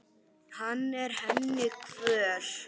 Hann er henni kvöl.